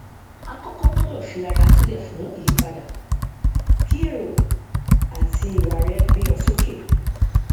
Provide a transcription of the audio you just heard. àkọkọ gbọdọ fi ara sílẹ fún ìyípadà kí èrò àti ìwà rẹ gbé ọ sókè